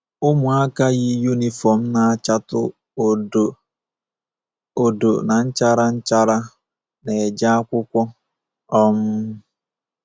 Ụmụaka yi yunifọm na-achatụ odo odo na nchara nchara na-eje akwụkwọ. um